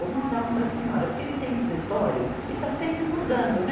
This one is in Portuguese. Vou mandar um para a senhora, porque ele tem escritório e está sempre mudando, né?